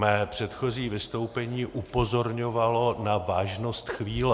Mé předchozí vystoupení upozorňovalo na vážnost chvíle.